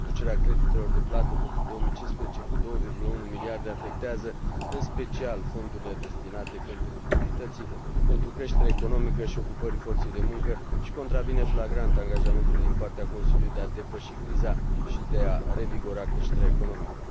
Reducerea creditelor de plată pentru 2015 cu 2,1 miliarde afectează în special fondurile destinate competitivității pentru creșterea economică și ocupării forței de muncă și contravine flagrant angajamentului din partea Consiliului de a depăși criza și de a revigora creșterea economică.